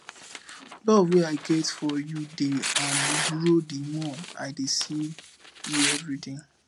love wey i get for you dey um grow the more i dey see you everyday